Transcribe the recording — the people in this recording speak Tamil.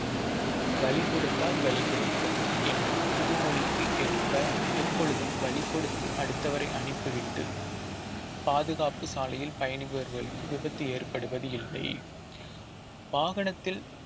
வழி கொடுத்தால் வழி கிடைக்கும் என்று புதுமொழிக்கு ஏற்ப எப்பொழுதும் வழி கொடுத்து அடுத்தவரை அனுப்பிவிட்டு பாதுகாப்பு சாலையில் பயணிபவர்களுக்கு விபத்து ஏற்படுவது இல்லை வாகனத்தில்